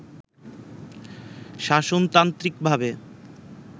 শাসনতান্ত্রিকভাবে